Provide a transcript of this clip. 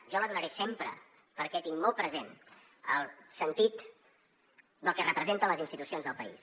jo la donaré sempre perquè tinc molt present el sentit del que representen les institucions del país